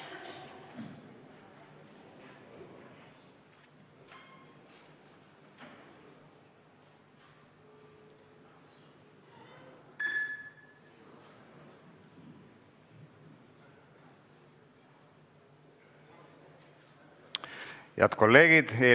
Hääletustulemused Head kolleegid!